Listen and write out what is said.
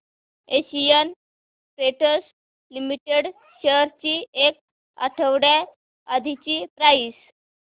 Asian Paints Limited shares ची एक आठवड्या आधीची प्राइस